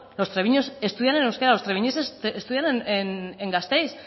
los treviñeses estudian en euskera los treviñeses estudian en gasteiz